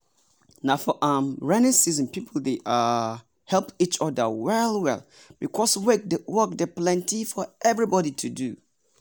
na for um raining season people dey um help each other well well because work dey plenty for everybody to do.